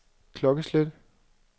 klokkeslæt